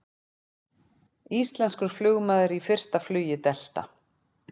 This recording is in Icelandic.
Íslenskur flugmaður í fyrsta flugi Delta